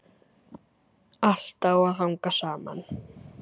Allt á að hanga saman.